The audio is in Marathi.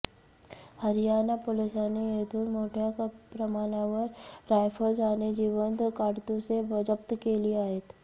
हरियाणा पोलिसांनी येथून मोठय़ा प्रमाणावर रायफल्स आणि जिवंत काडतुसे जप्त केली आहेत